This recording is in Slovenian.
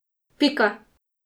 Pika.